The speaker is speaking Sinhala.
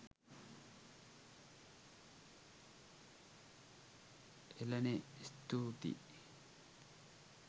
එලනේ ස්තුතියි